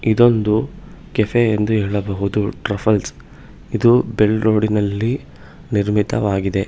ಇದೊಂದು ಕೆಫೆ ಎಂದು ಹೇಳಬಹುದು ಟ್ರಫಲ್ಸ್ ಇದು ಬೆಂಗಳೂರಿನಲ್ಲಿ ನಿರ್ಮಿತವಾಗಿದೆ.